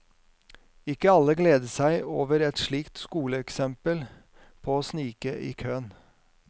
Ikke alle gleder seg over et slikt skoleeksempel på å snike i køen.